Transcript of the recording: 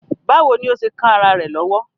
Báwo ni ó ṣe kán ará rẹ̀ lọ́wọ́?